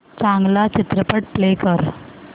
चांगला चित्रपट प्ले कर